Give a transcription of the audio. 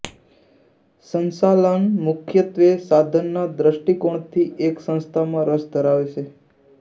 સંચાલન મુખ્યત્વે સાધનના દ્રષ્ટિકોણથી એક સંસ્થામાં રસ ધરાવે છે